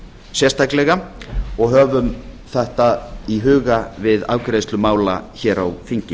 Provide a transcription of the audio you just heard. sérstaklega og höfum þetta í huga við afgreiðslu mála hér á þingi